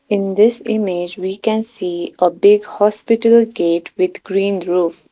in this image we can see a big hospital gate with green roof.